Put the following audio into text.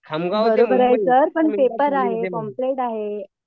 बरोबर आहे सर पण पेपर आहे पॉम्पलेट आहे